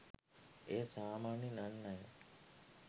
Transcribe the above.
එය සාමාන්‍යයෙන් අන් අය